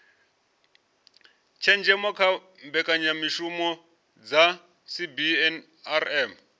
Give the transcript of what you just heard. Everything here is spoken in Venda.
tshenzhemo kha mbekanyamishumo dza cbnrm